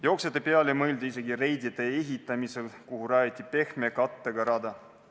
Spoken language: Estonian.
Jooksjate peale mõeldi isegi Reidi tee ehitamisel, kuhu rajati pehme kattega rada.